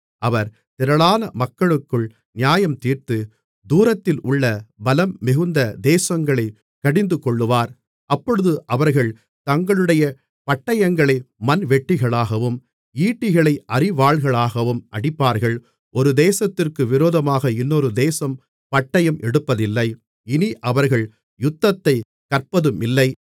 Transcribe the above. அவர் திரளான மக்களுக்குள் நியாயம் தீர்த்து தூரத்திலுள்ள பலம்மிகுந்த தேசங்களைக் கடிந்துகொள்ளுவார் அப்பொழுது அவர்கள் தங்களுடைய பட்டயங்களை மண்வெட்டிகளாகவும் ஈட்டிகளை அரிவாள்களாகவும் அடிப்பார்கள் ஒரு தேசத்திற்கு விரோதமாக இன்னொரு தேசம் பட்டயம் எடுப்பதில்லை இனி அவர்கள் யுத்தத்தைக் கற்பதுமில்லை